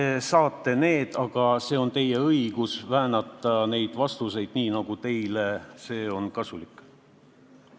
Te saate vastused, aga teil on õigus neid väänata nii, nagu see teile kasulik on.